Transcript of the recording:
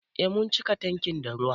Eh mun cika tankin da ruwa.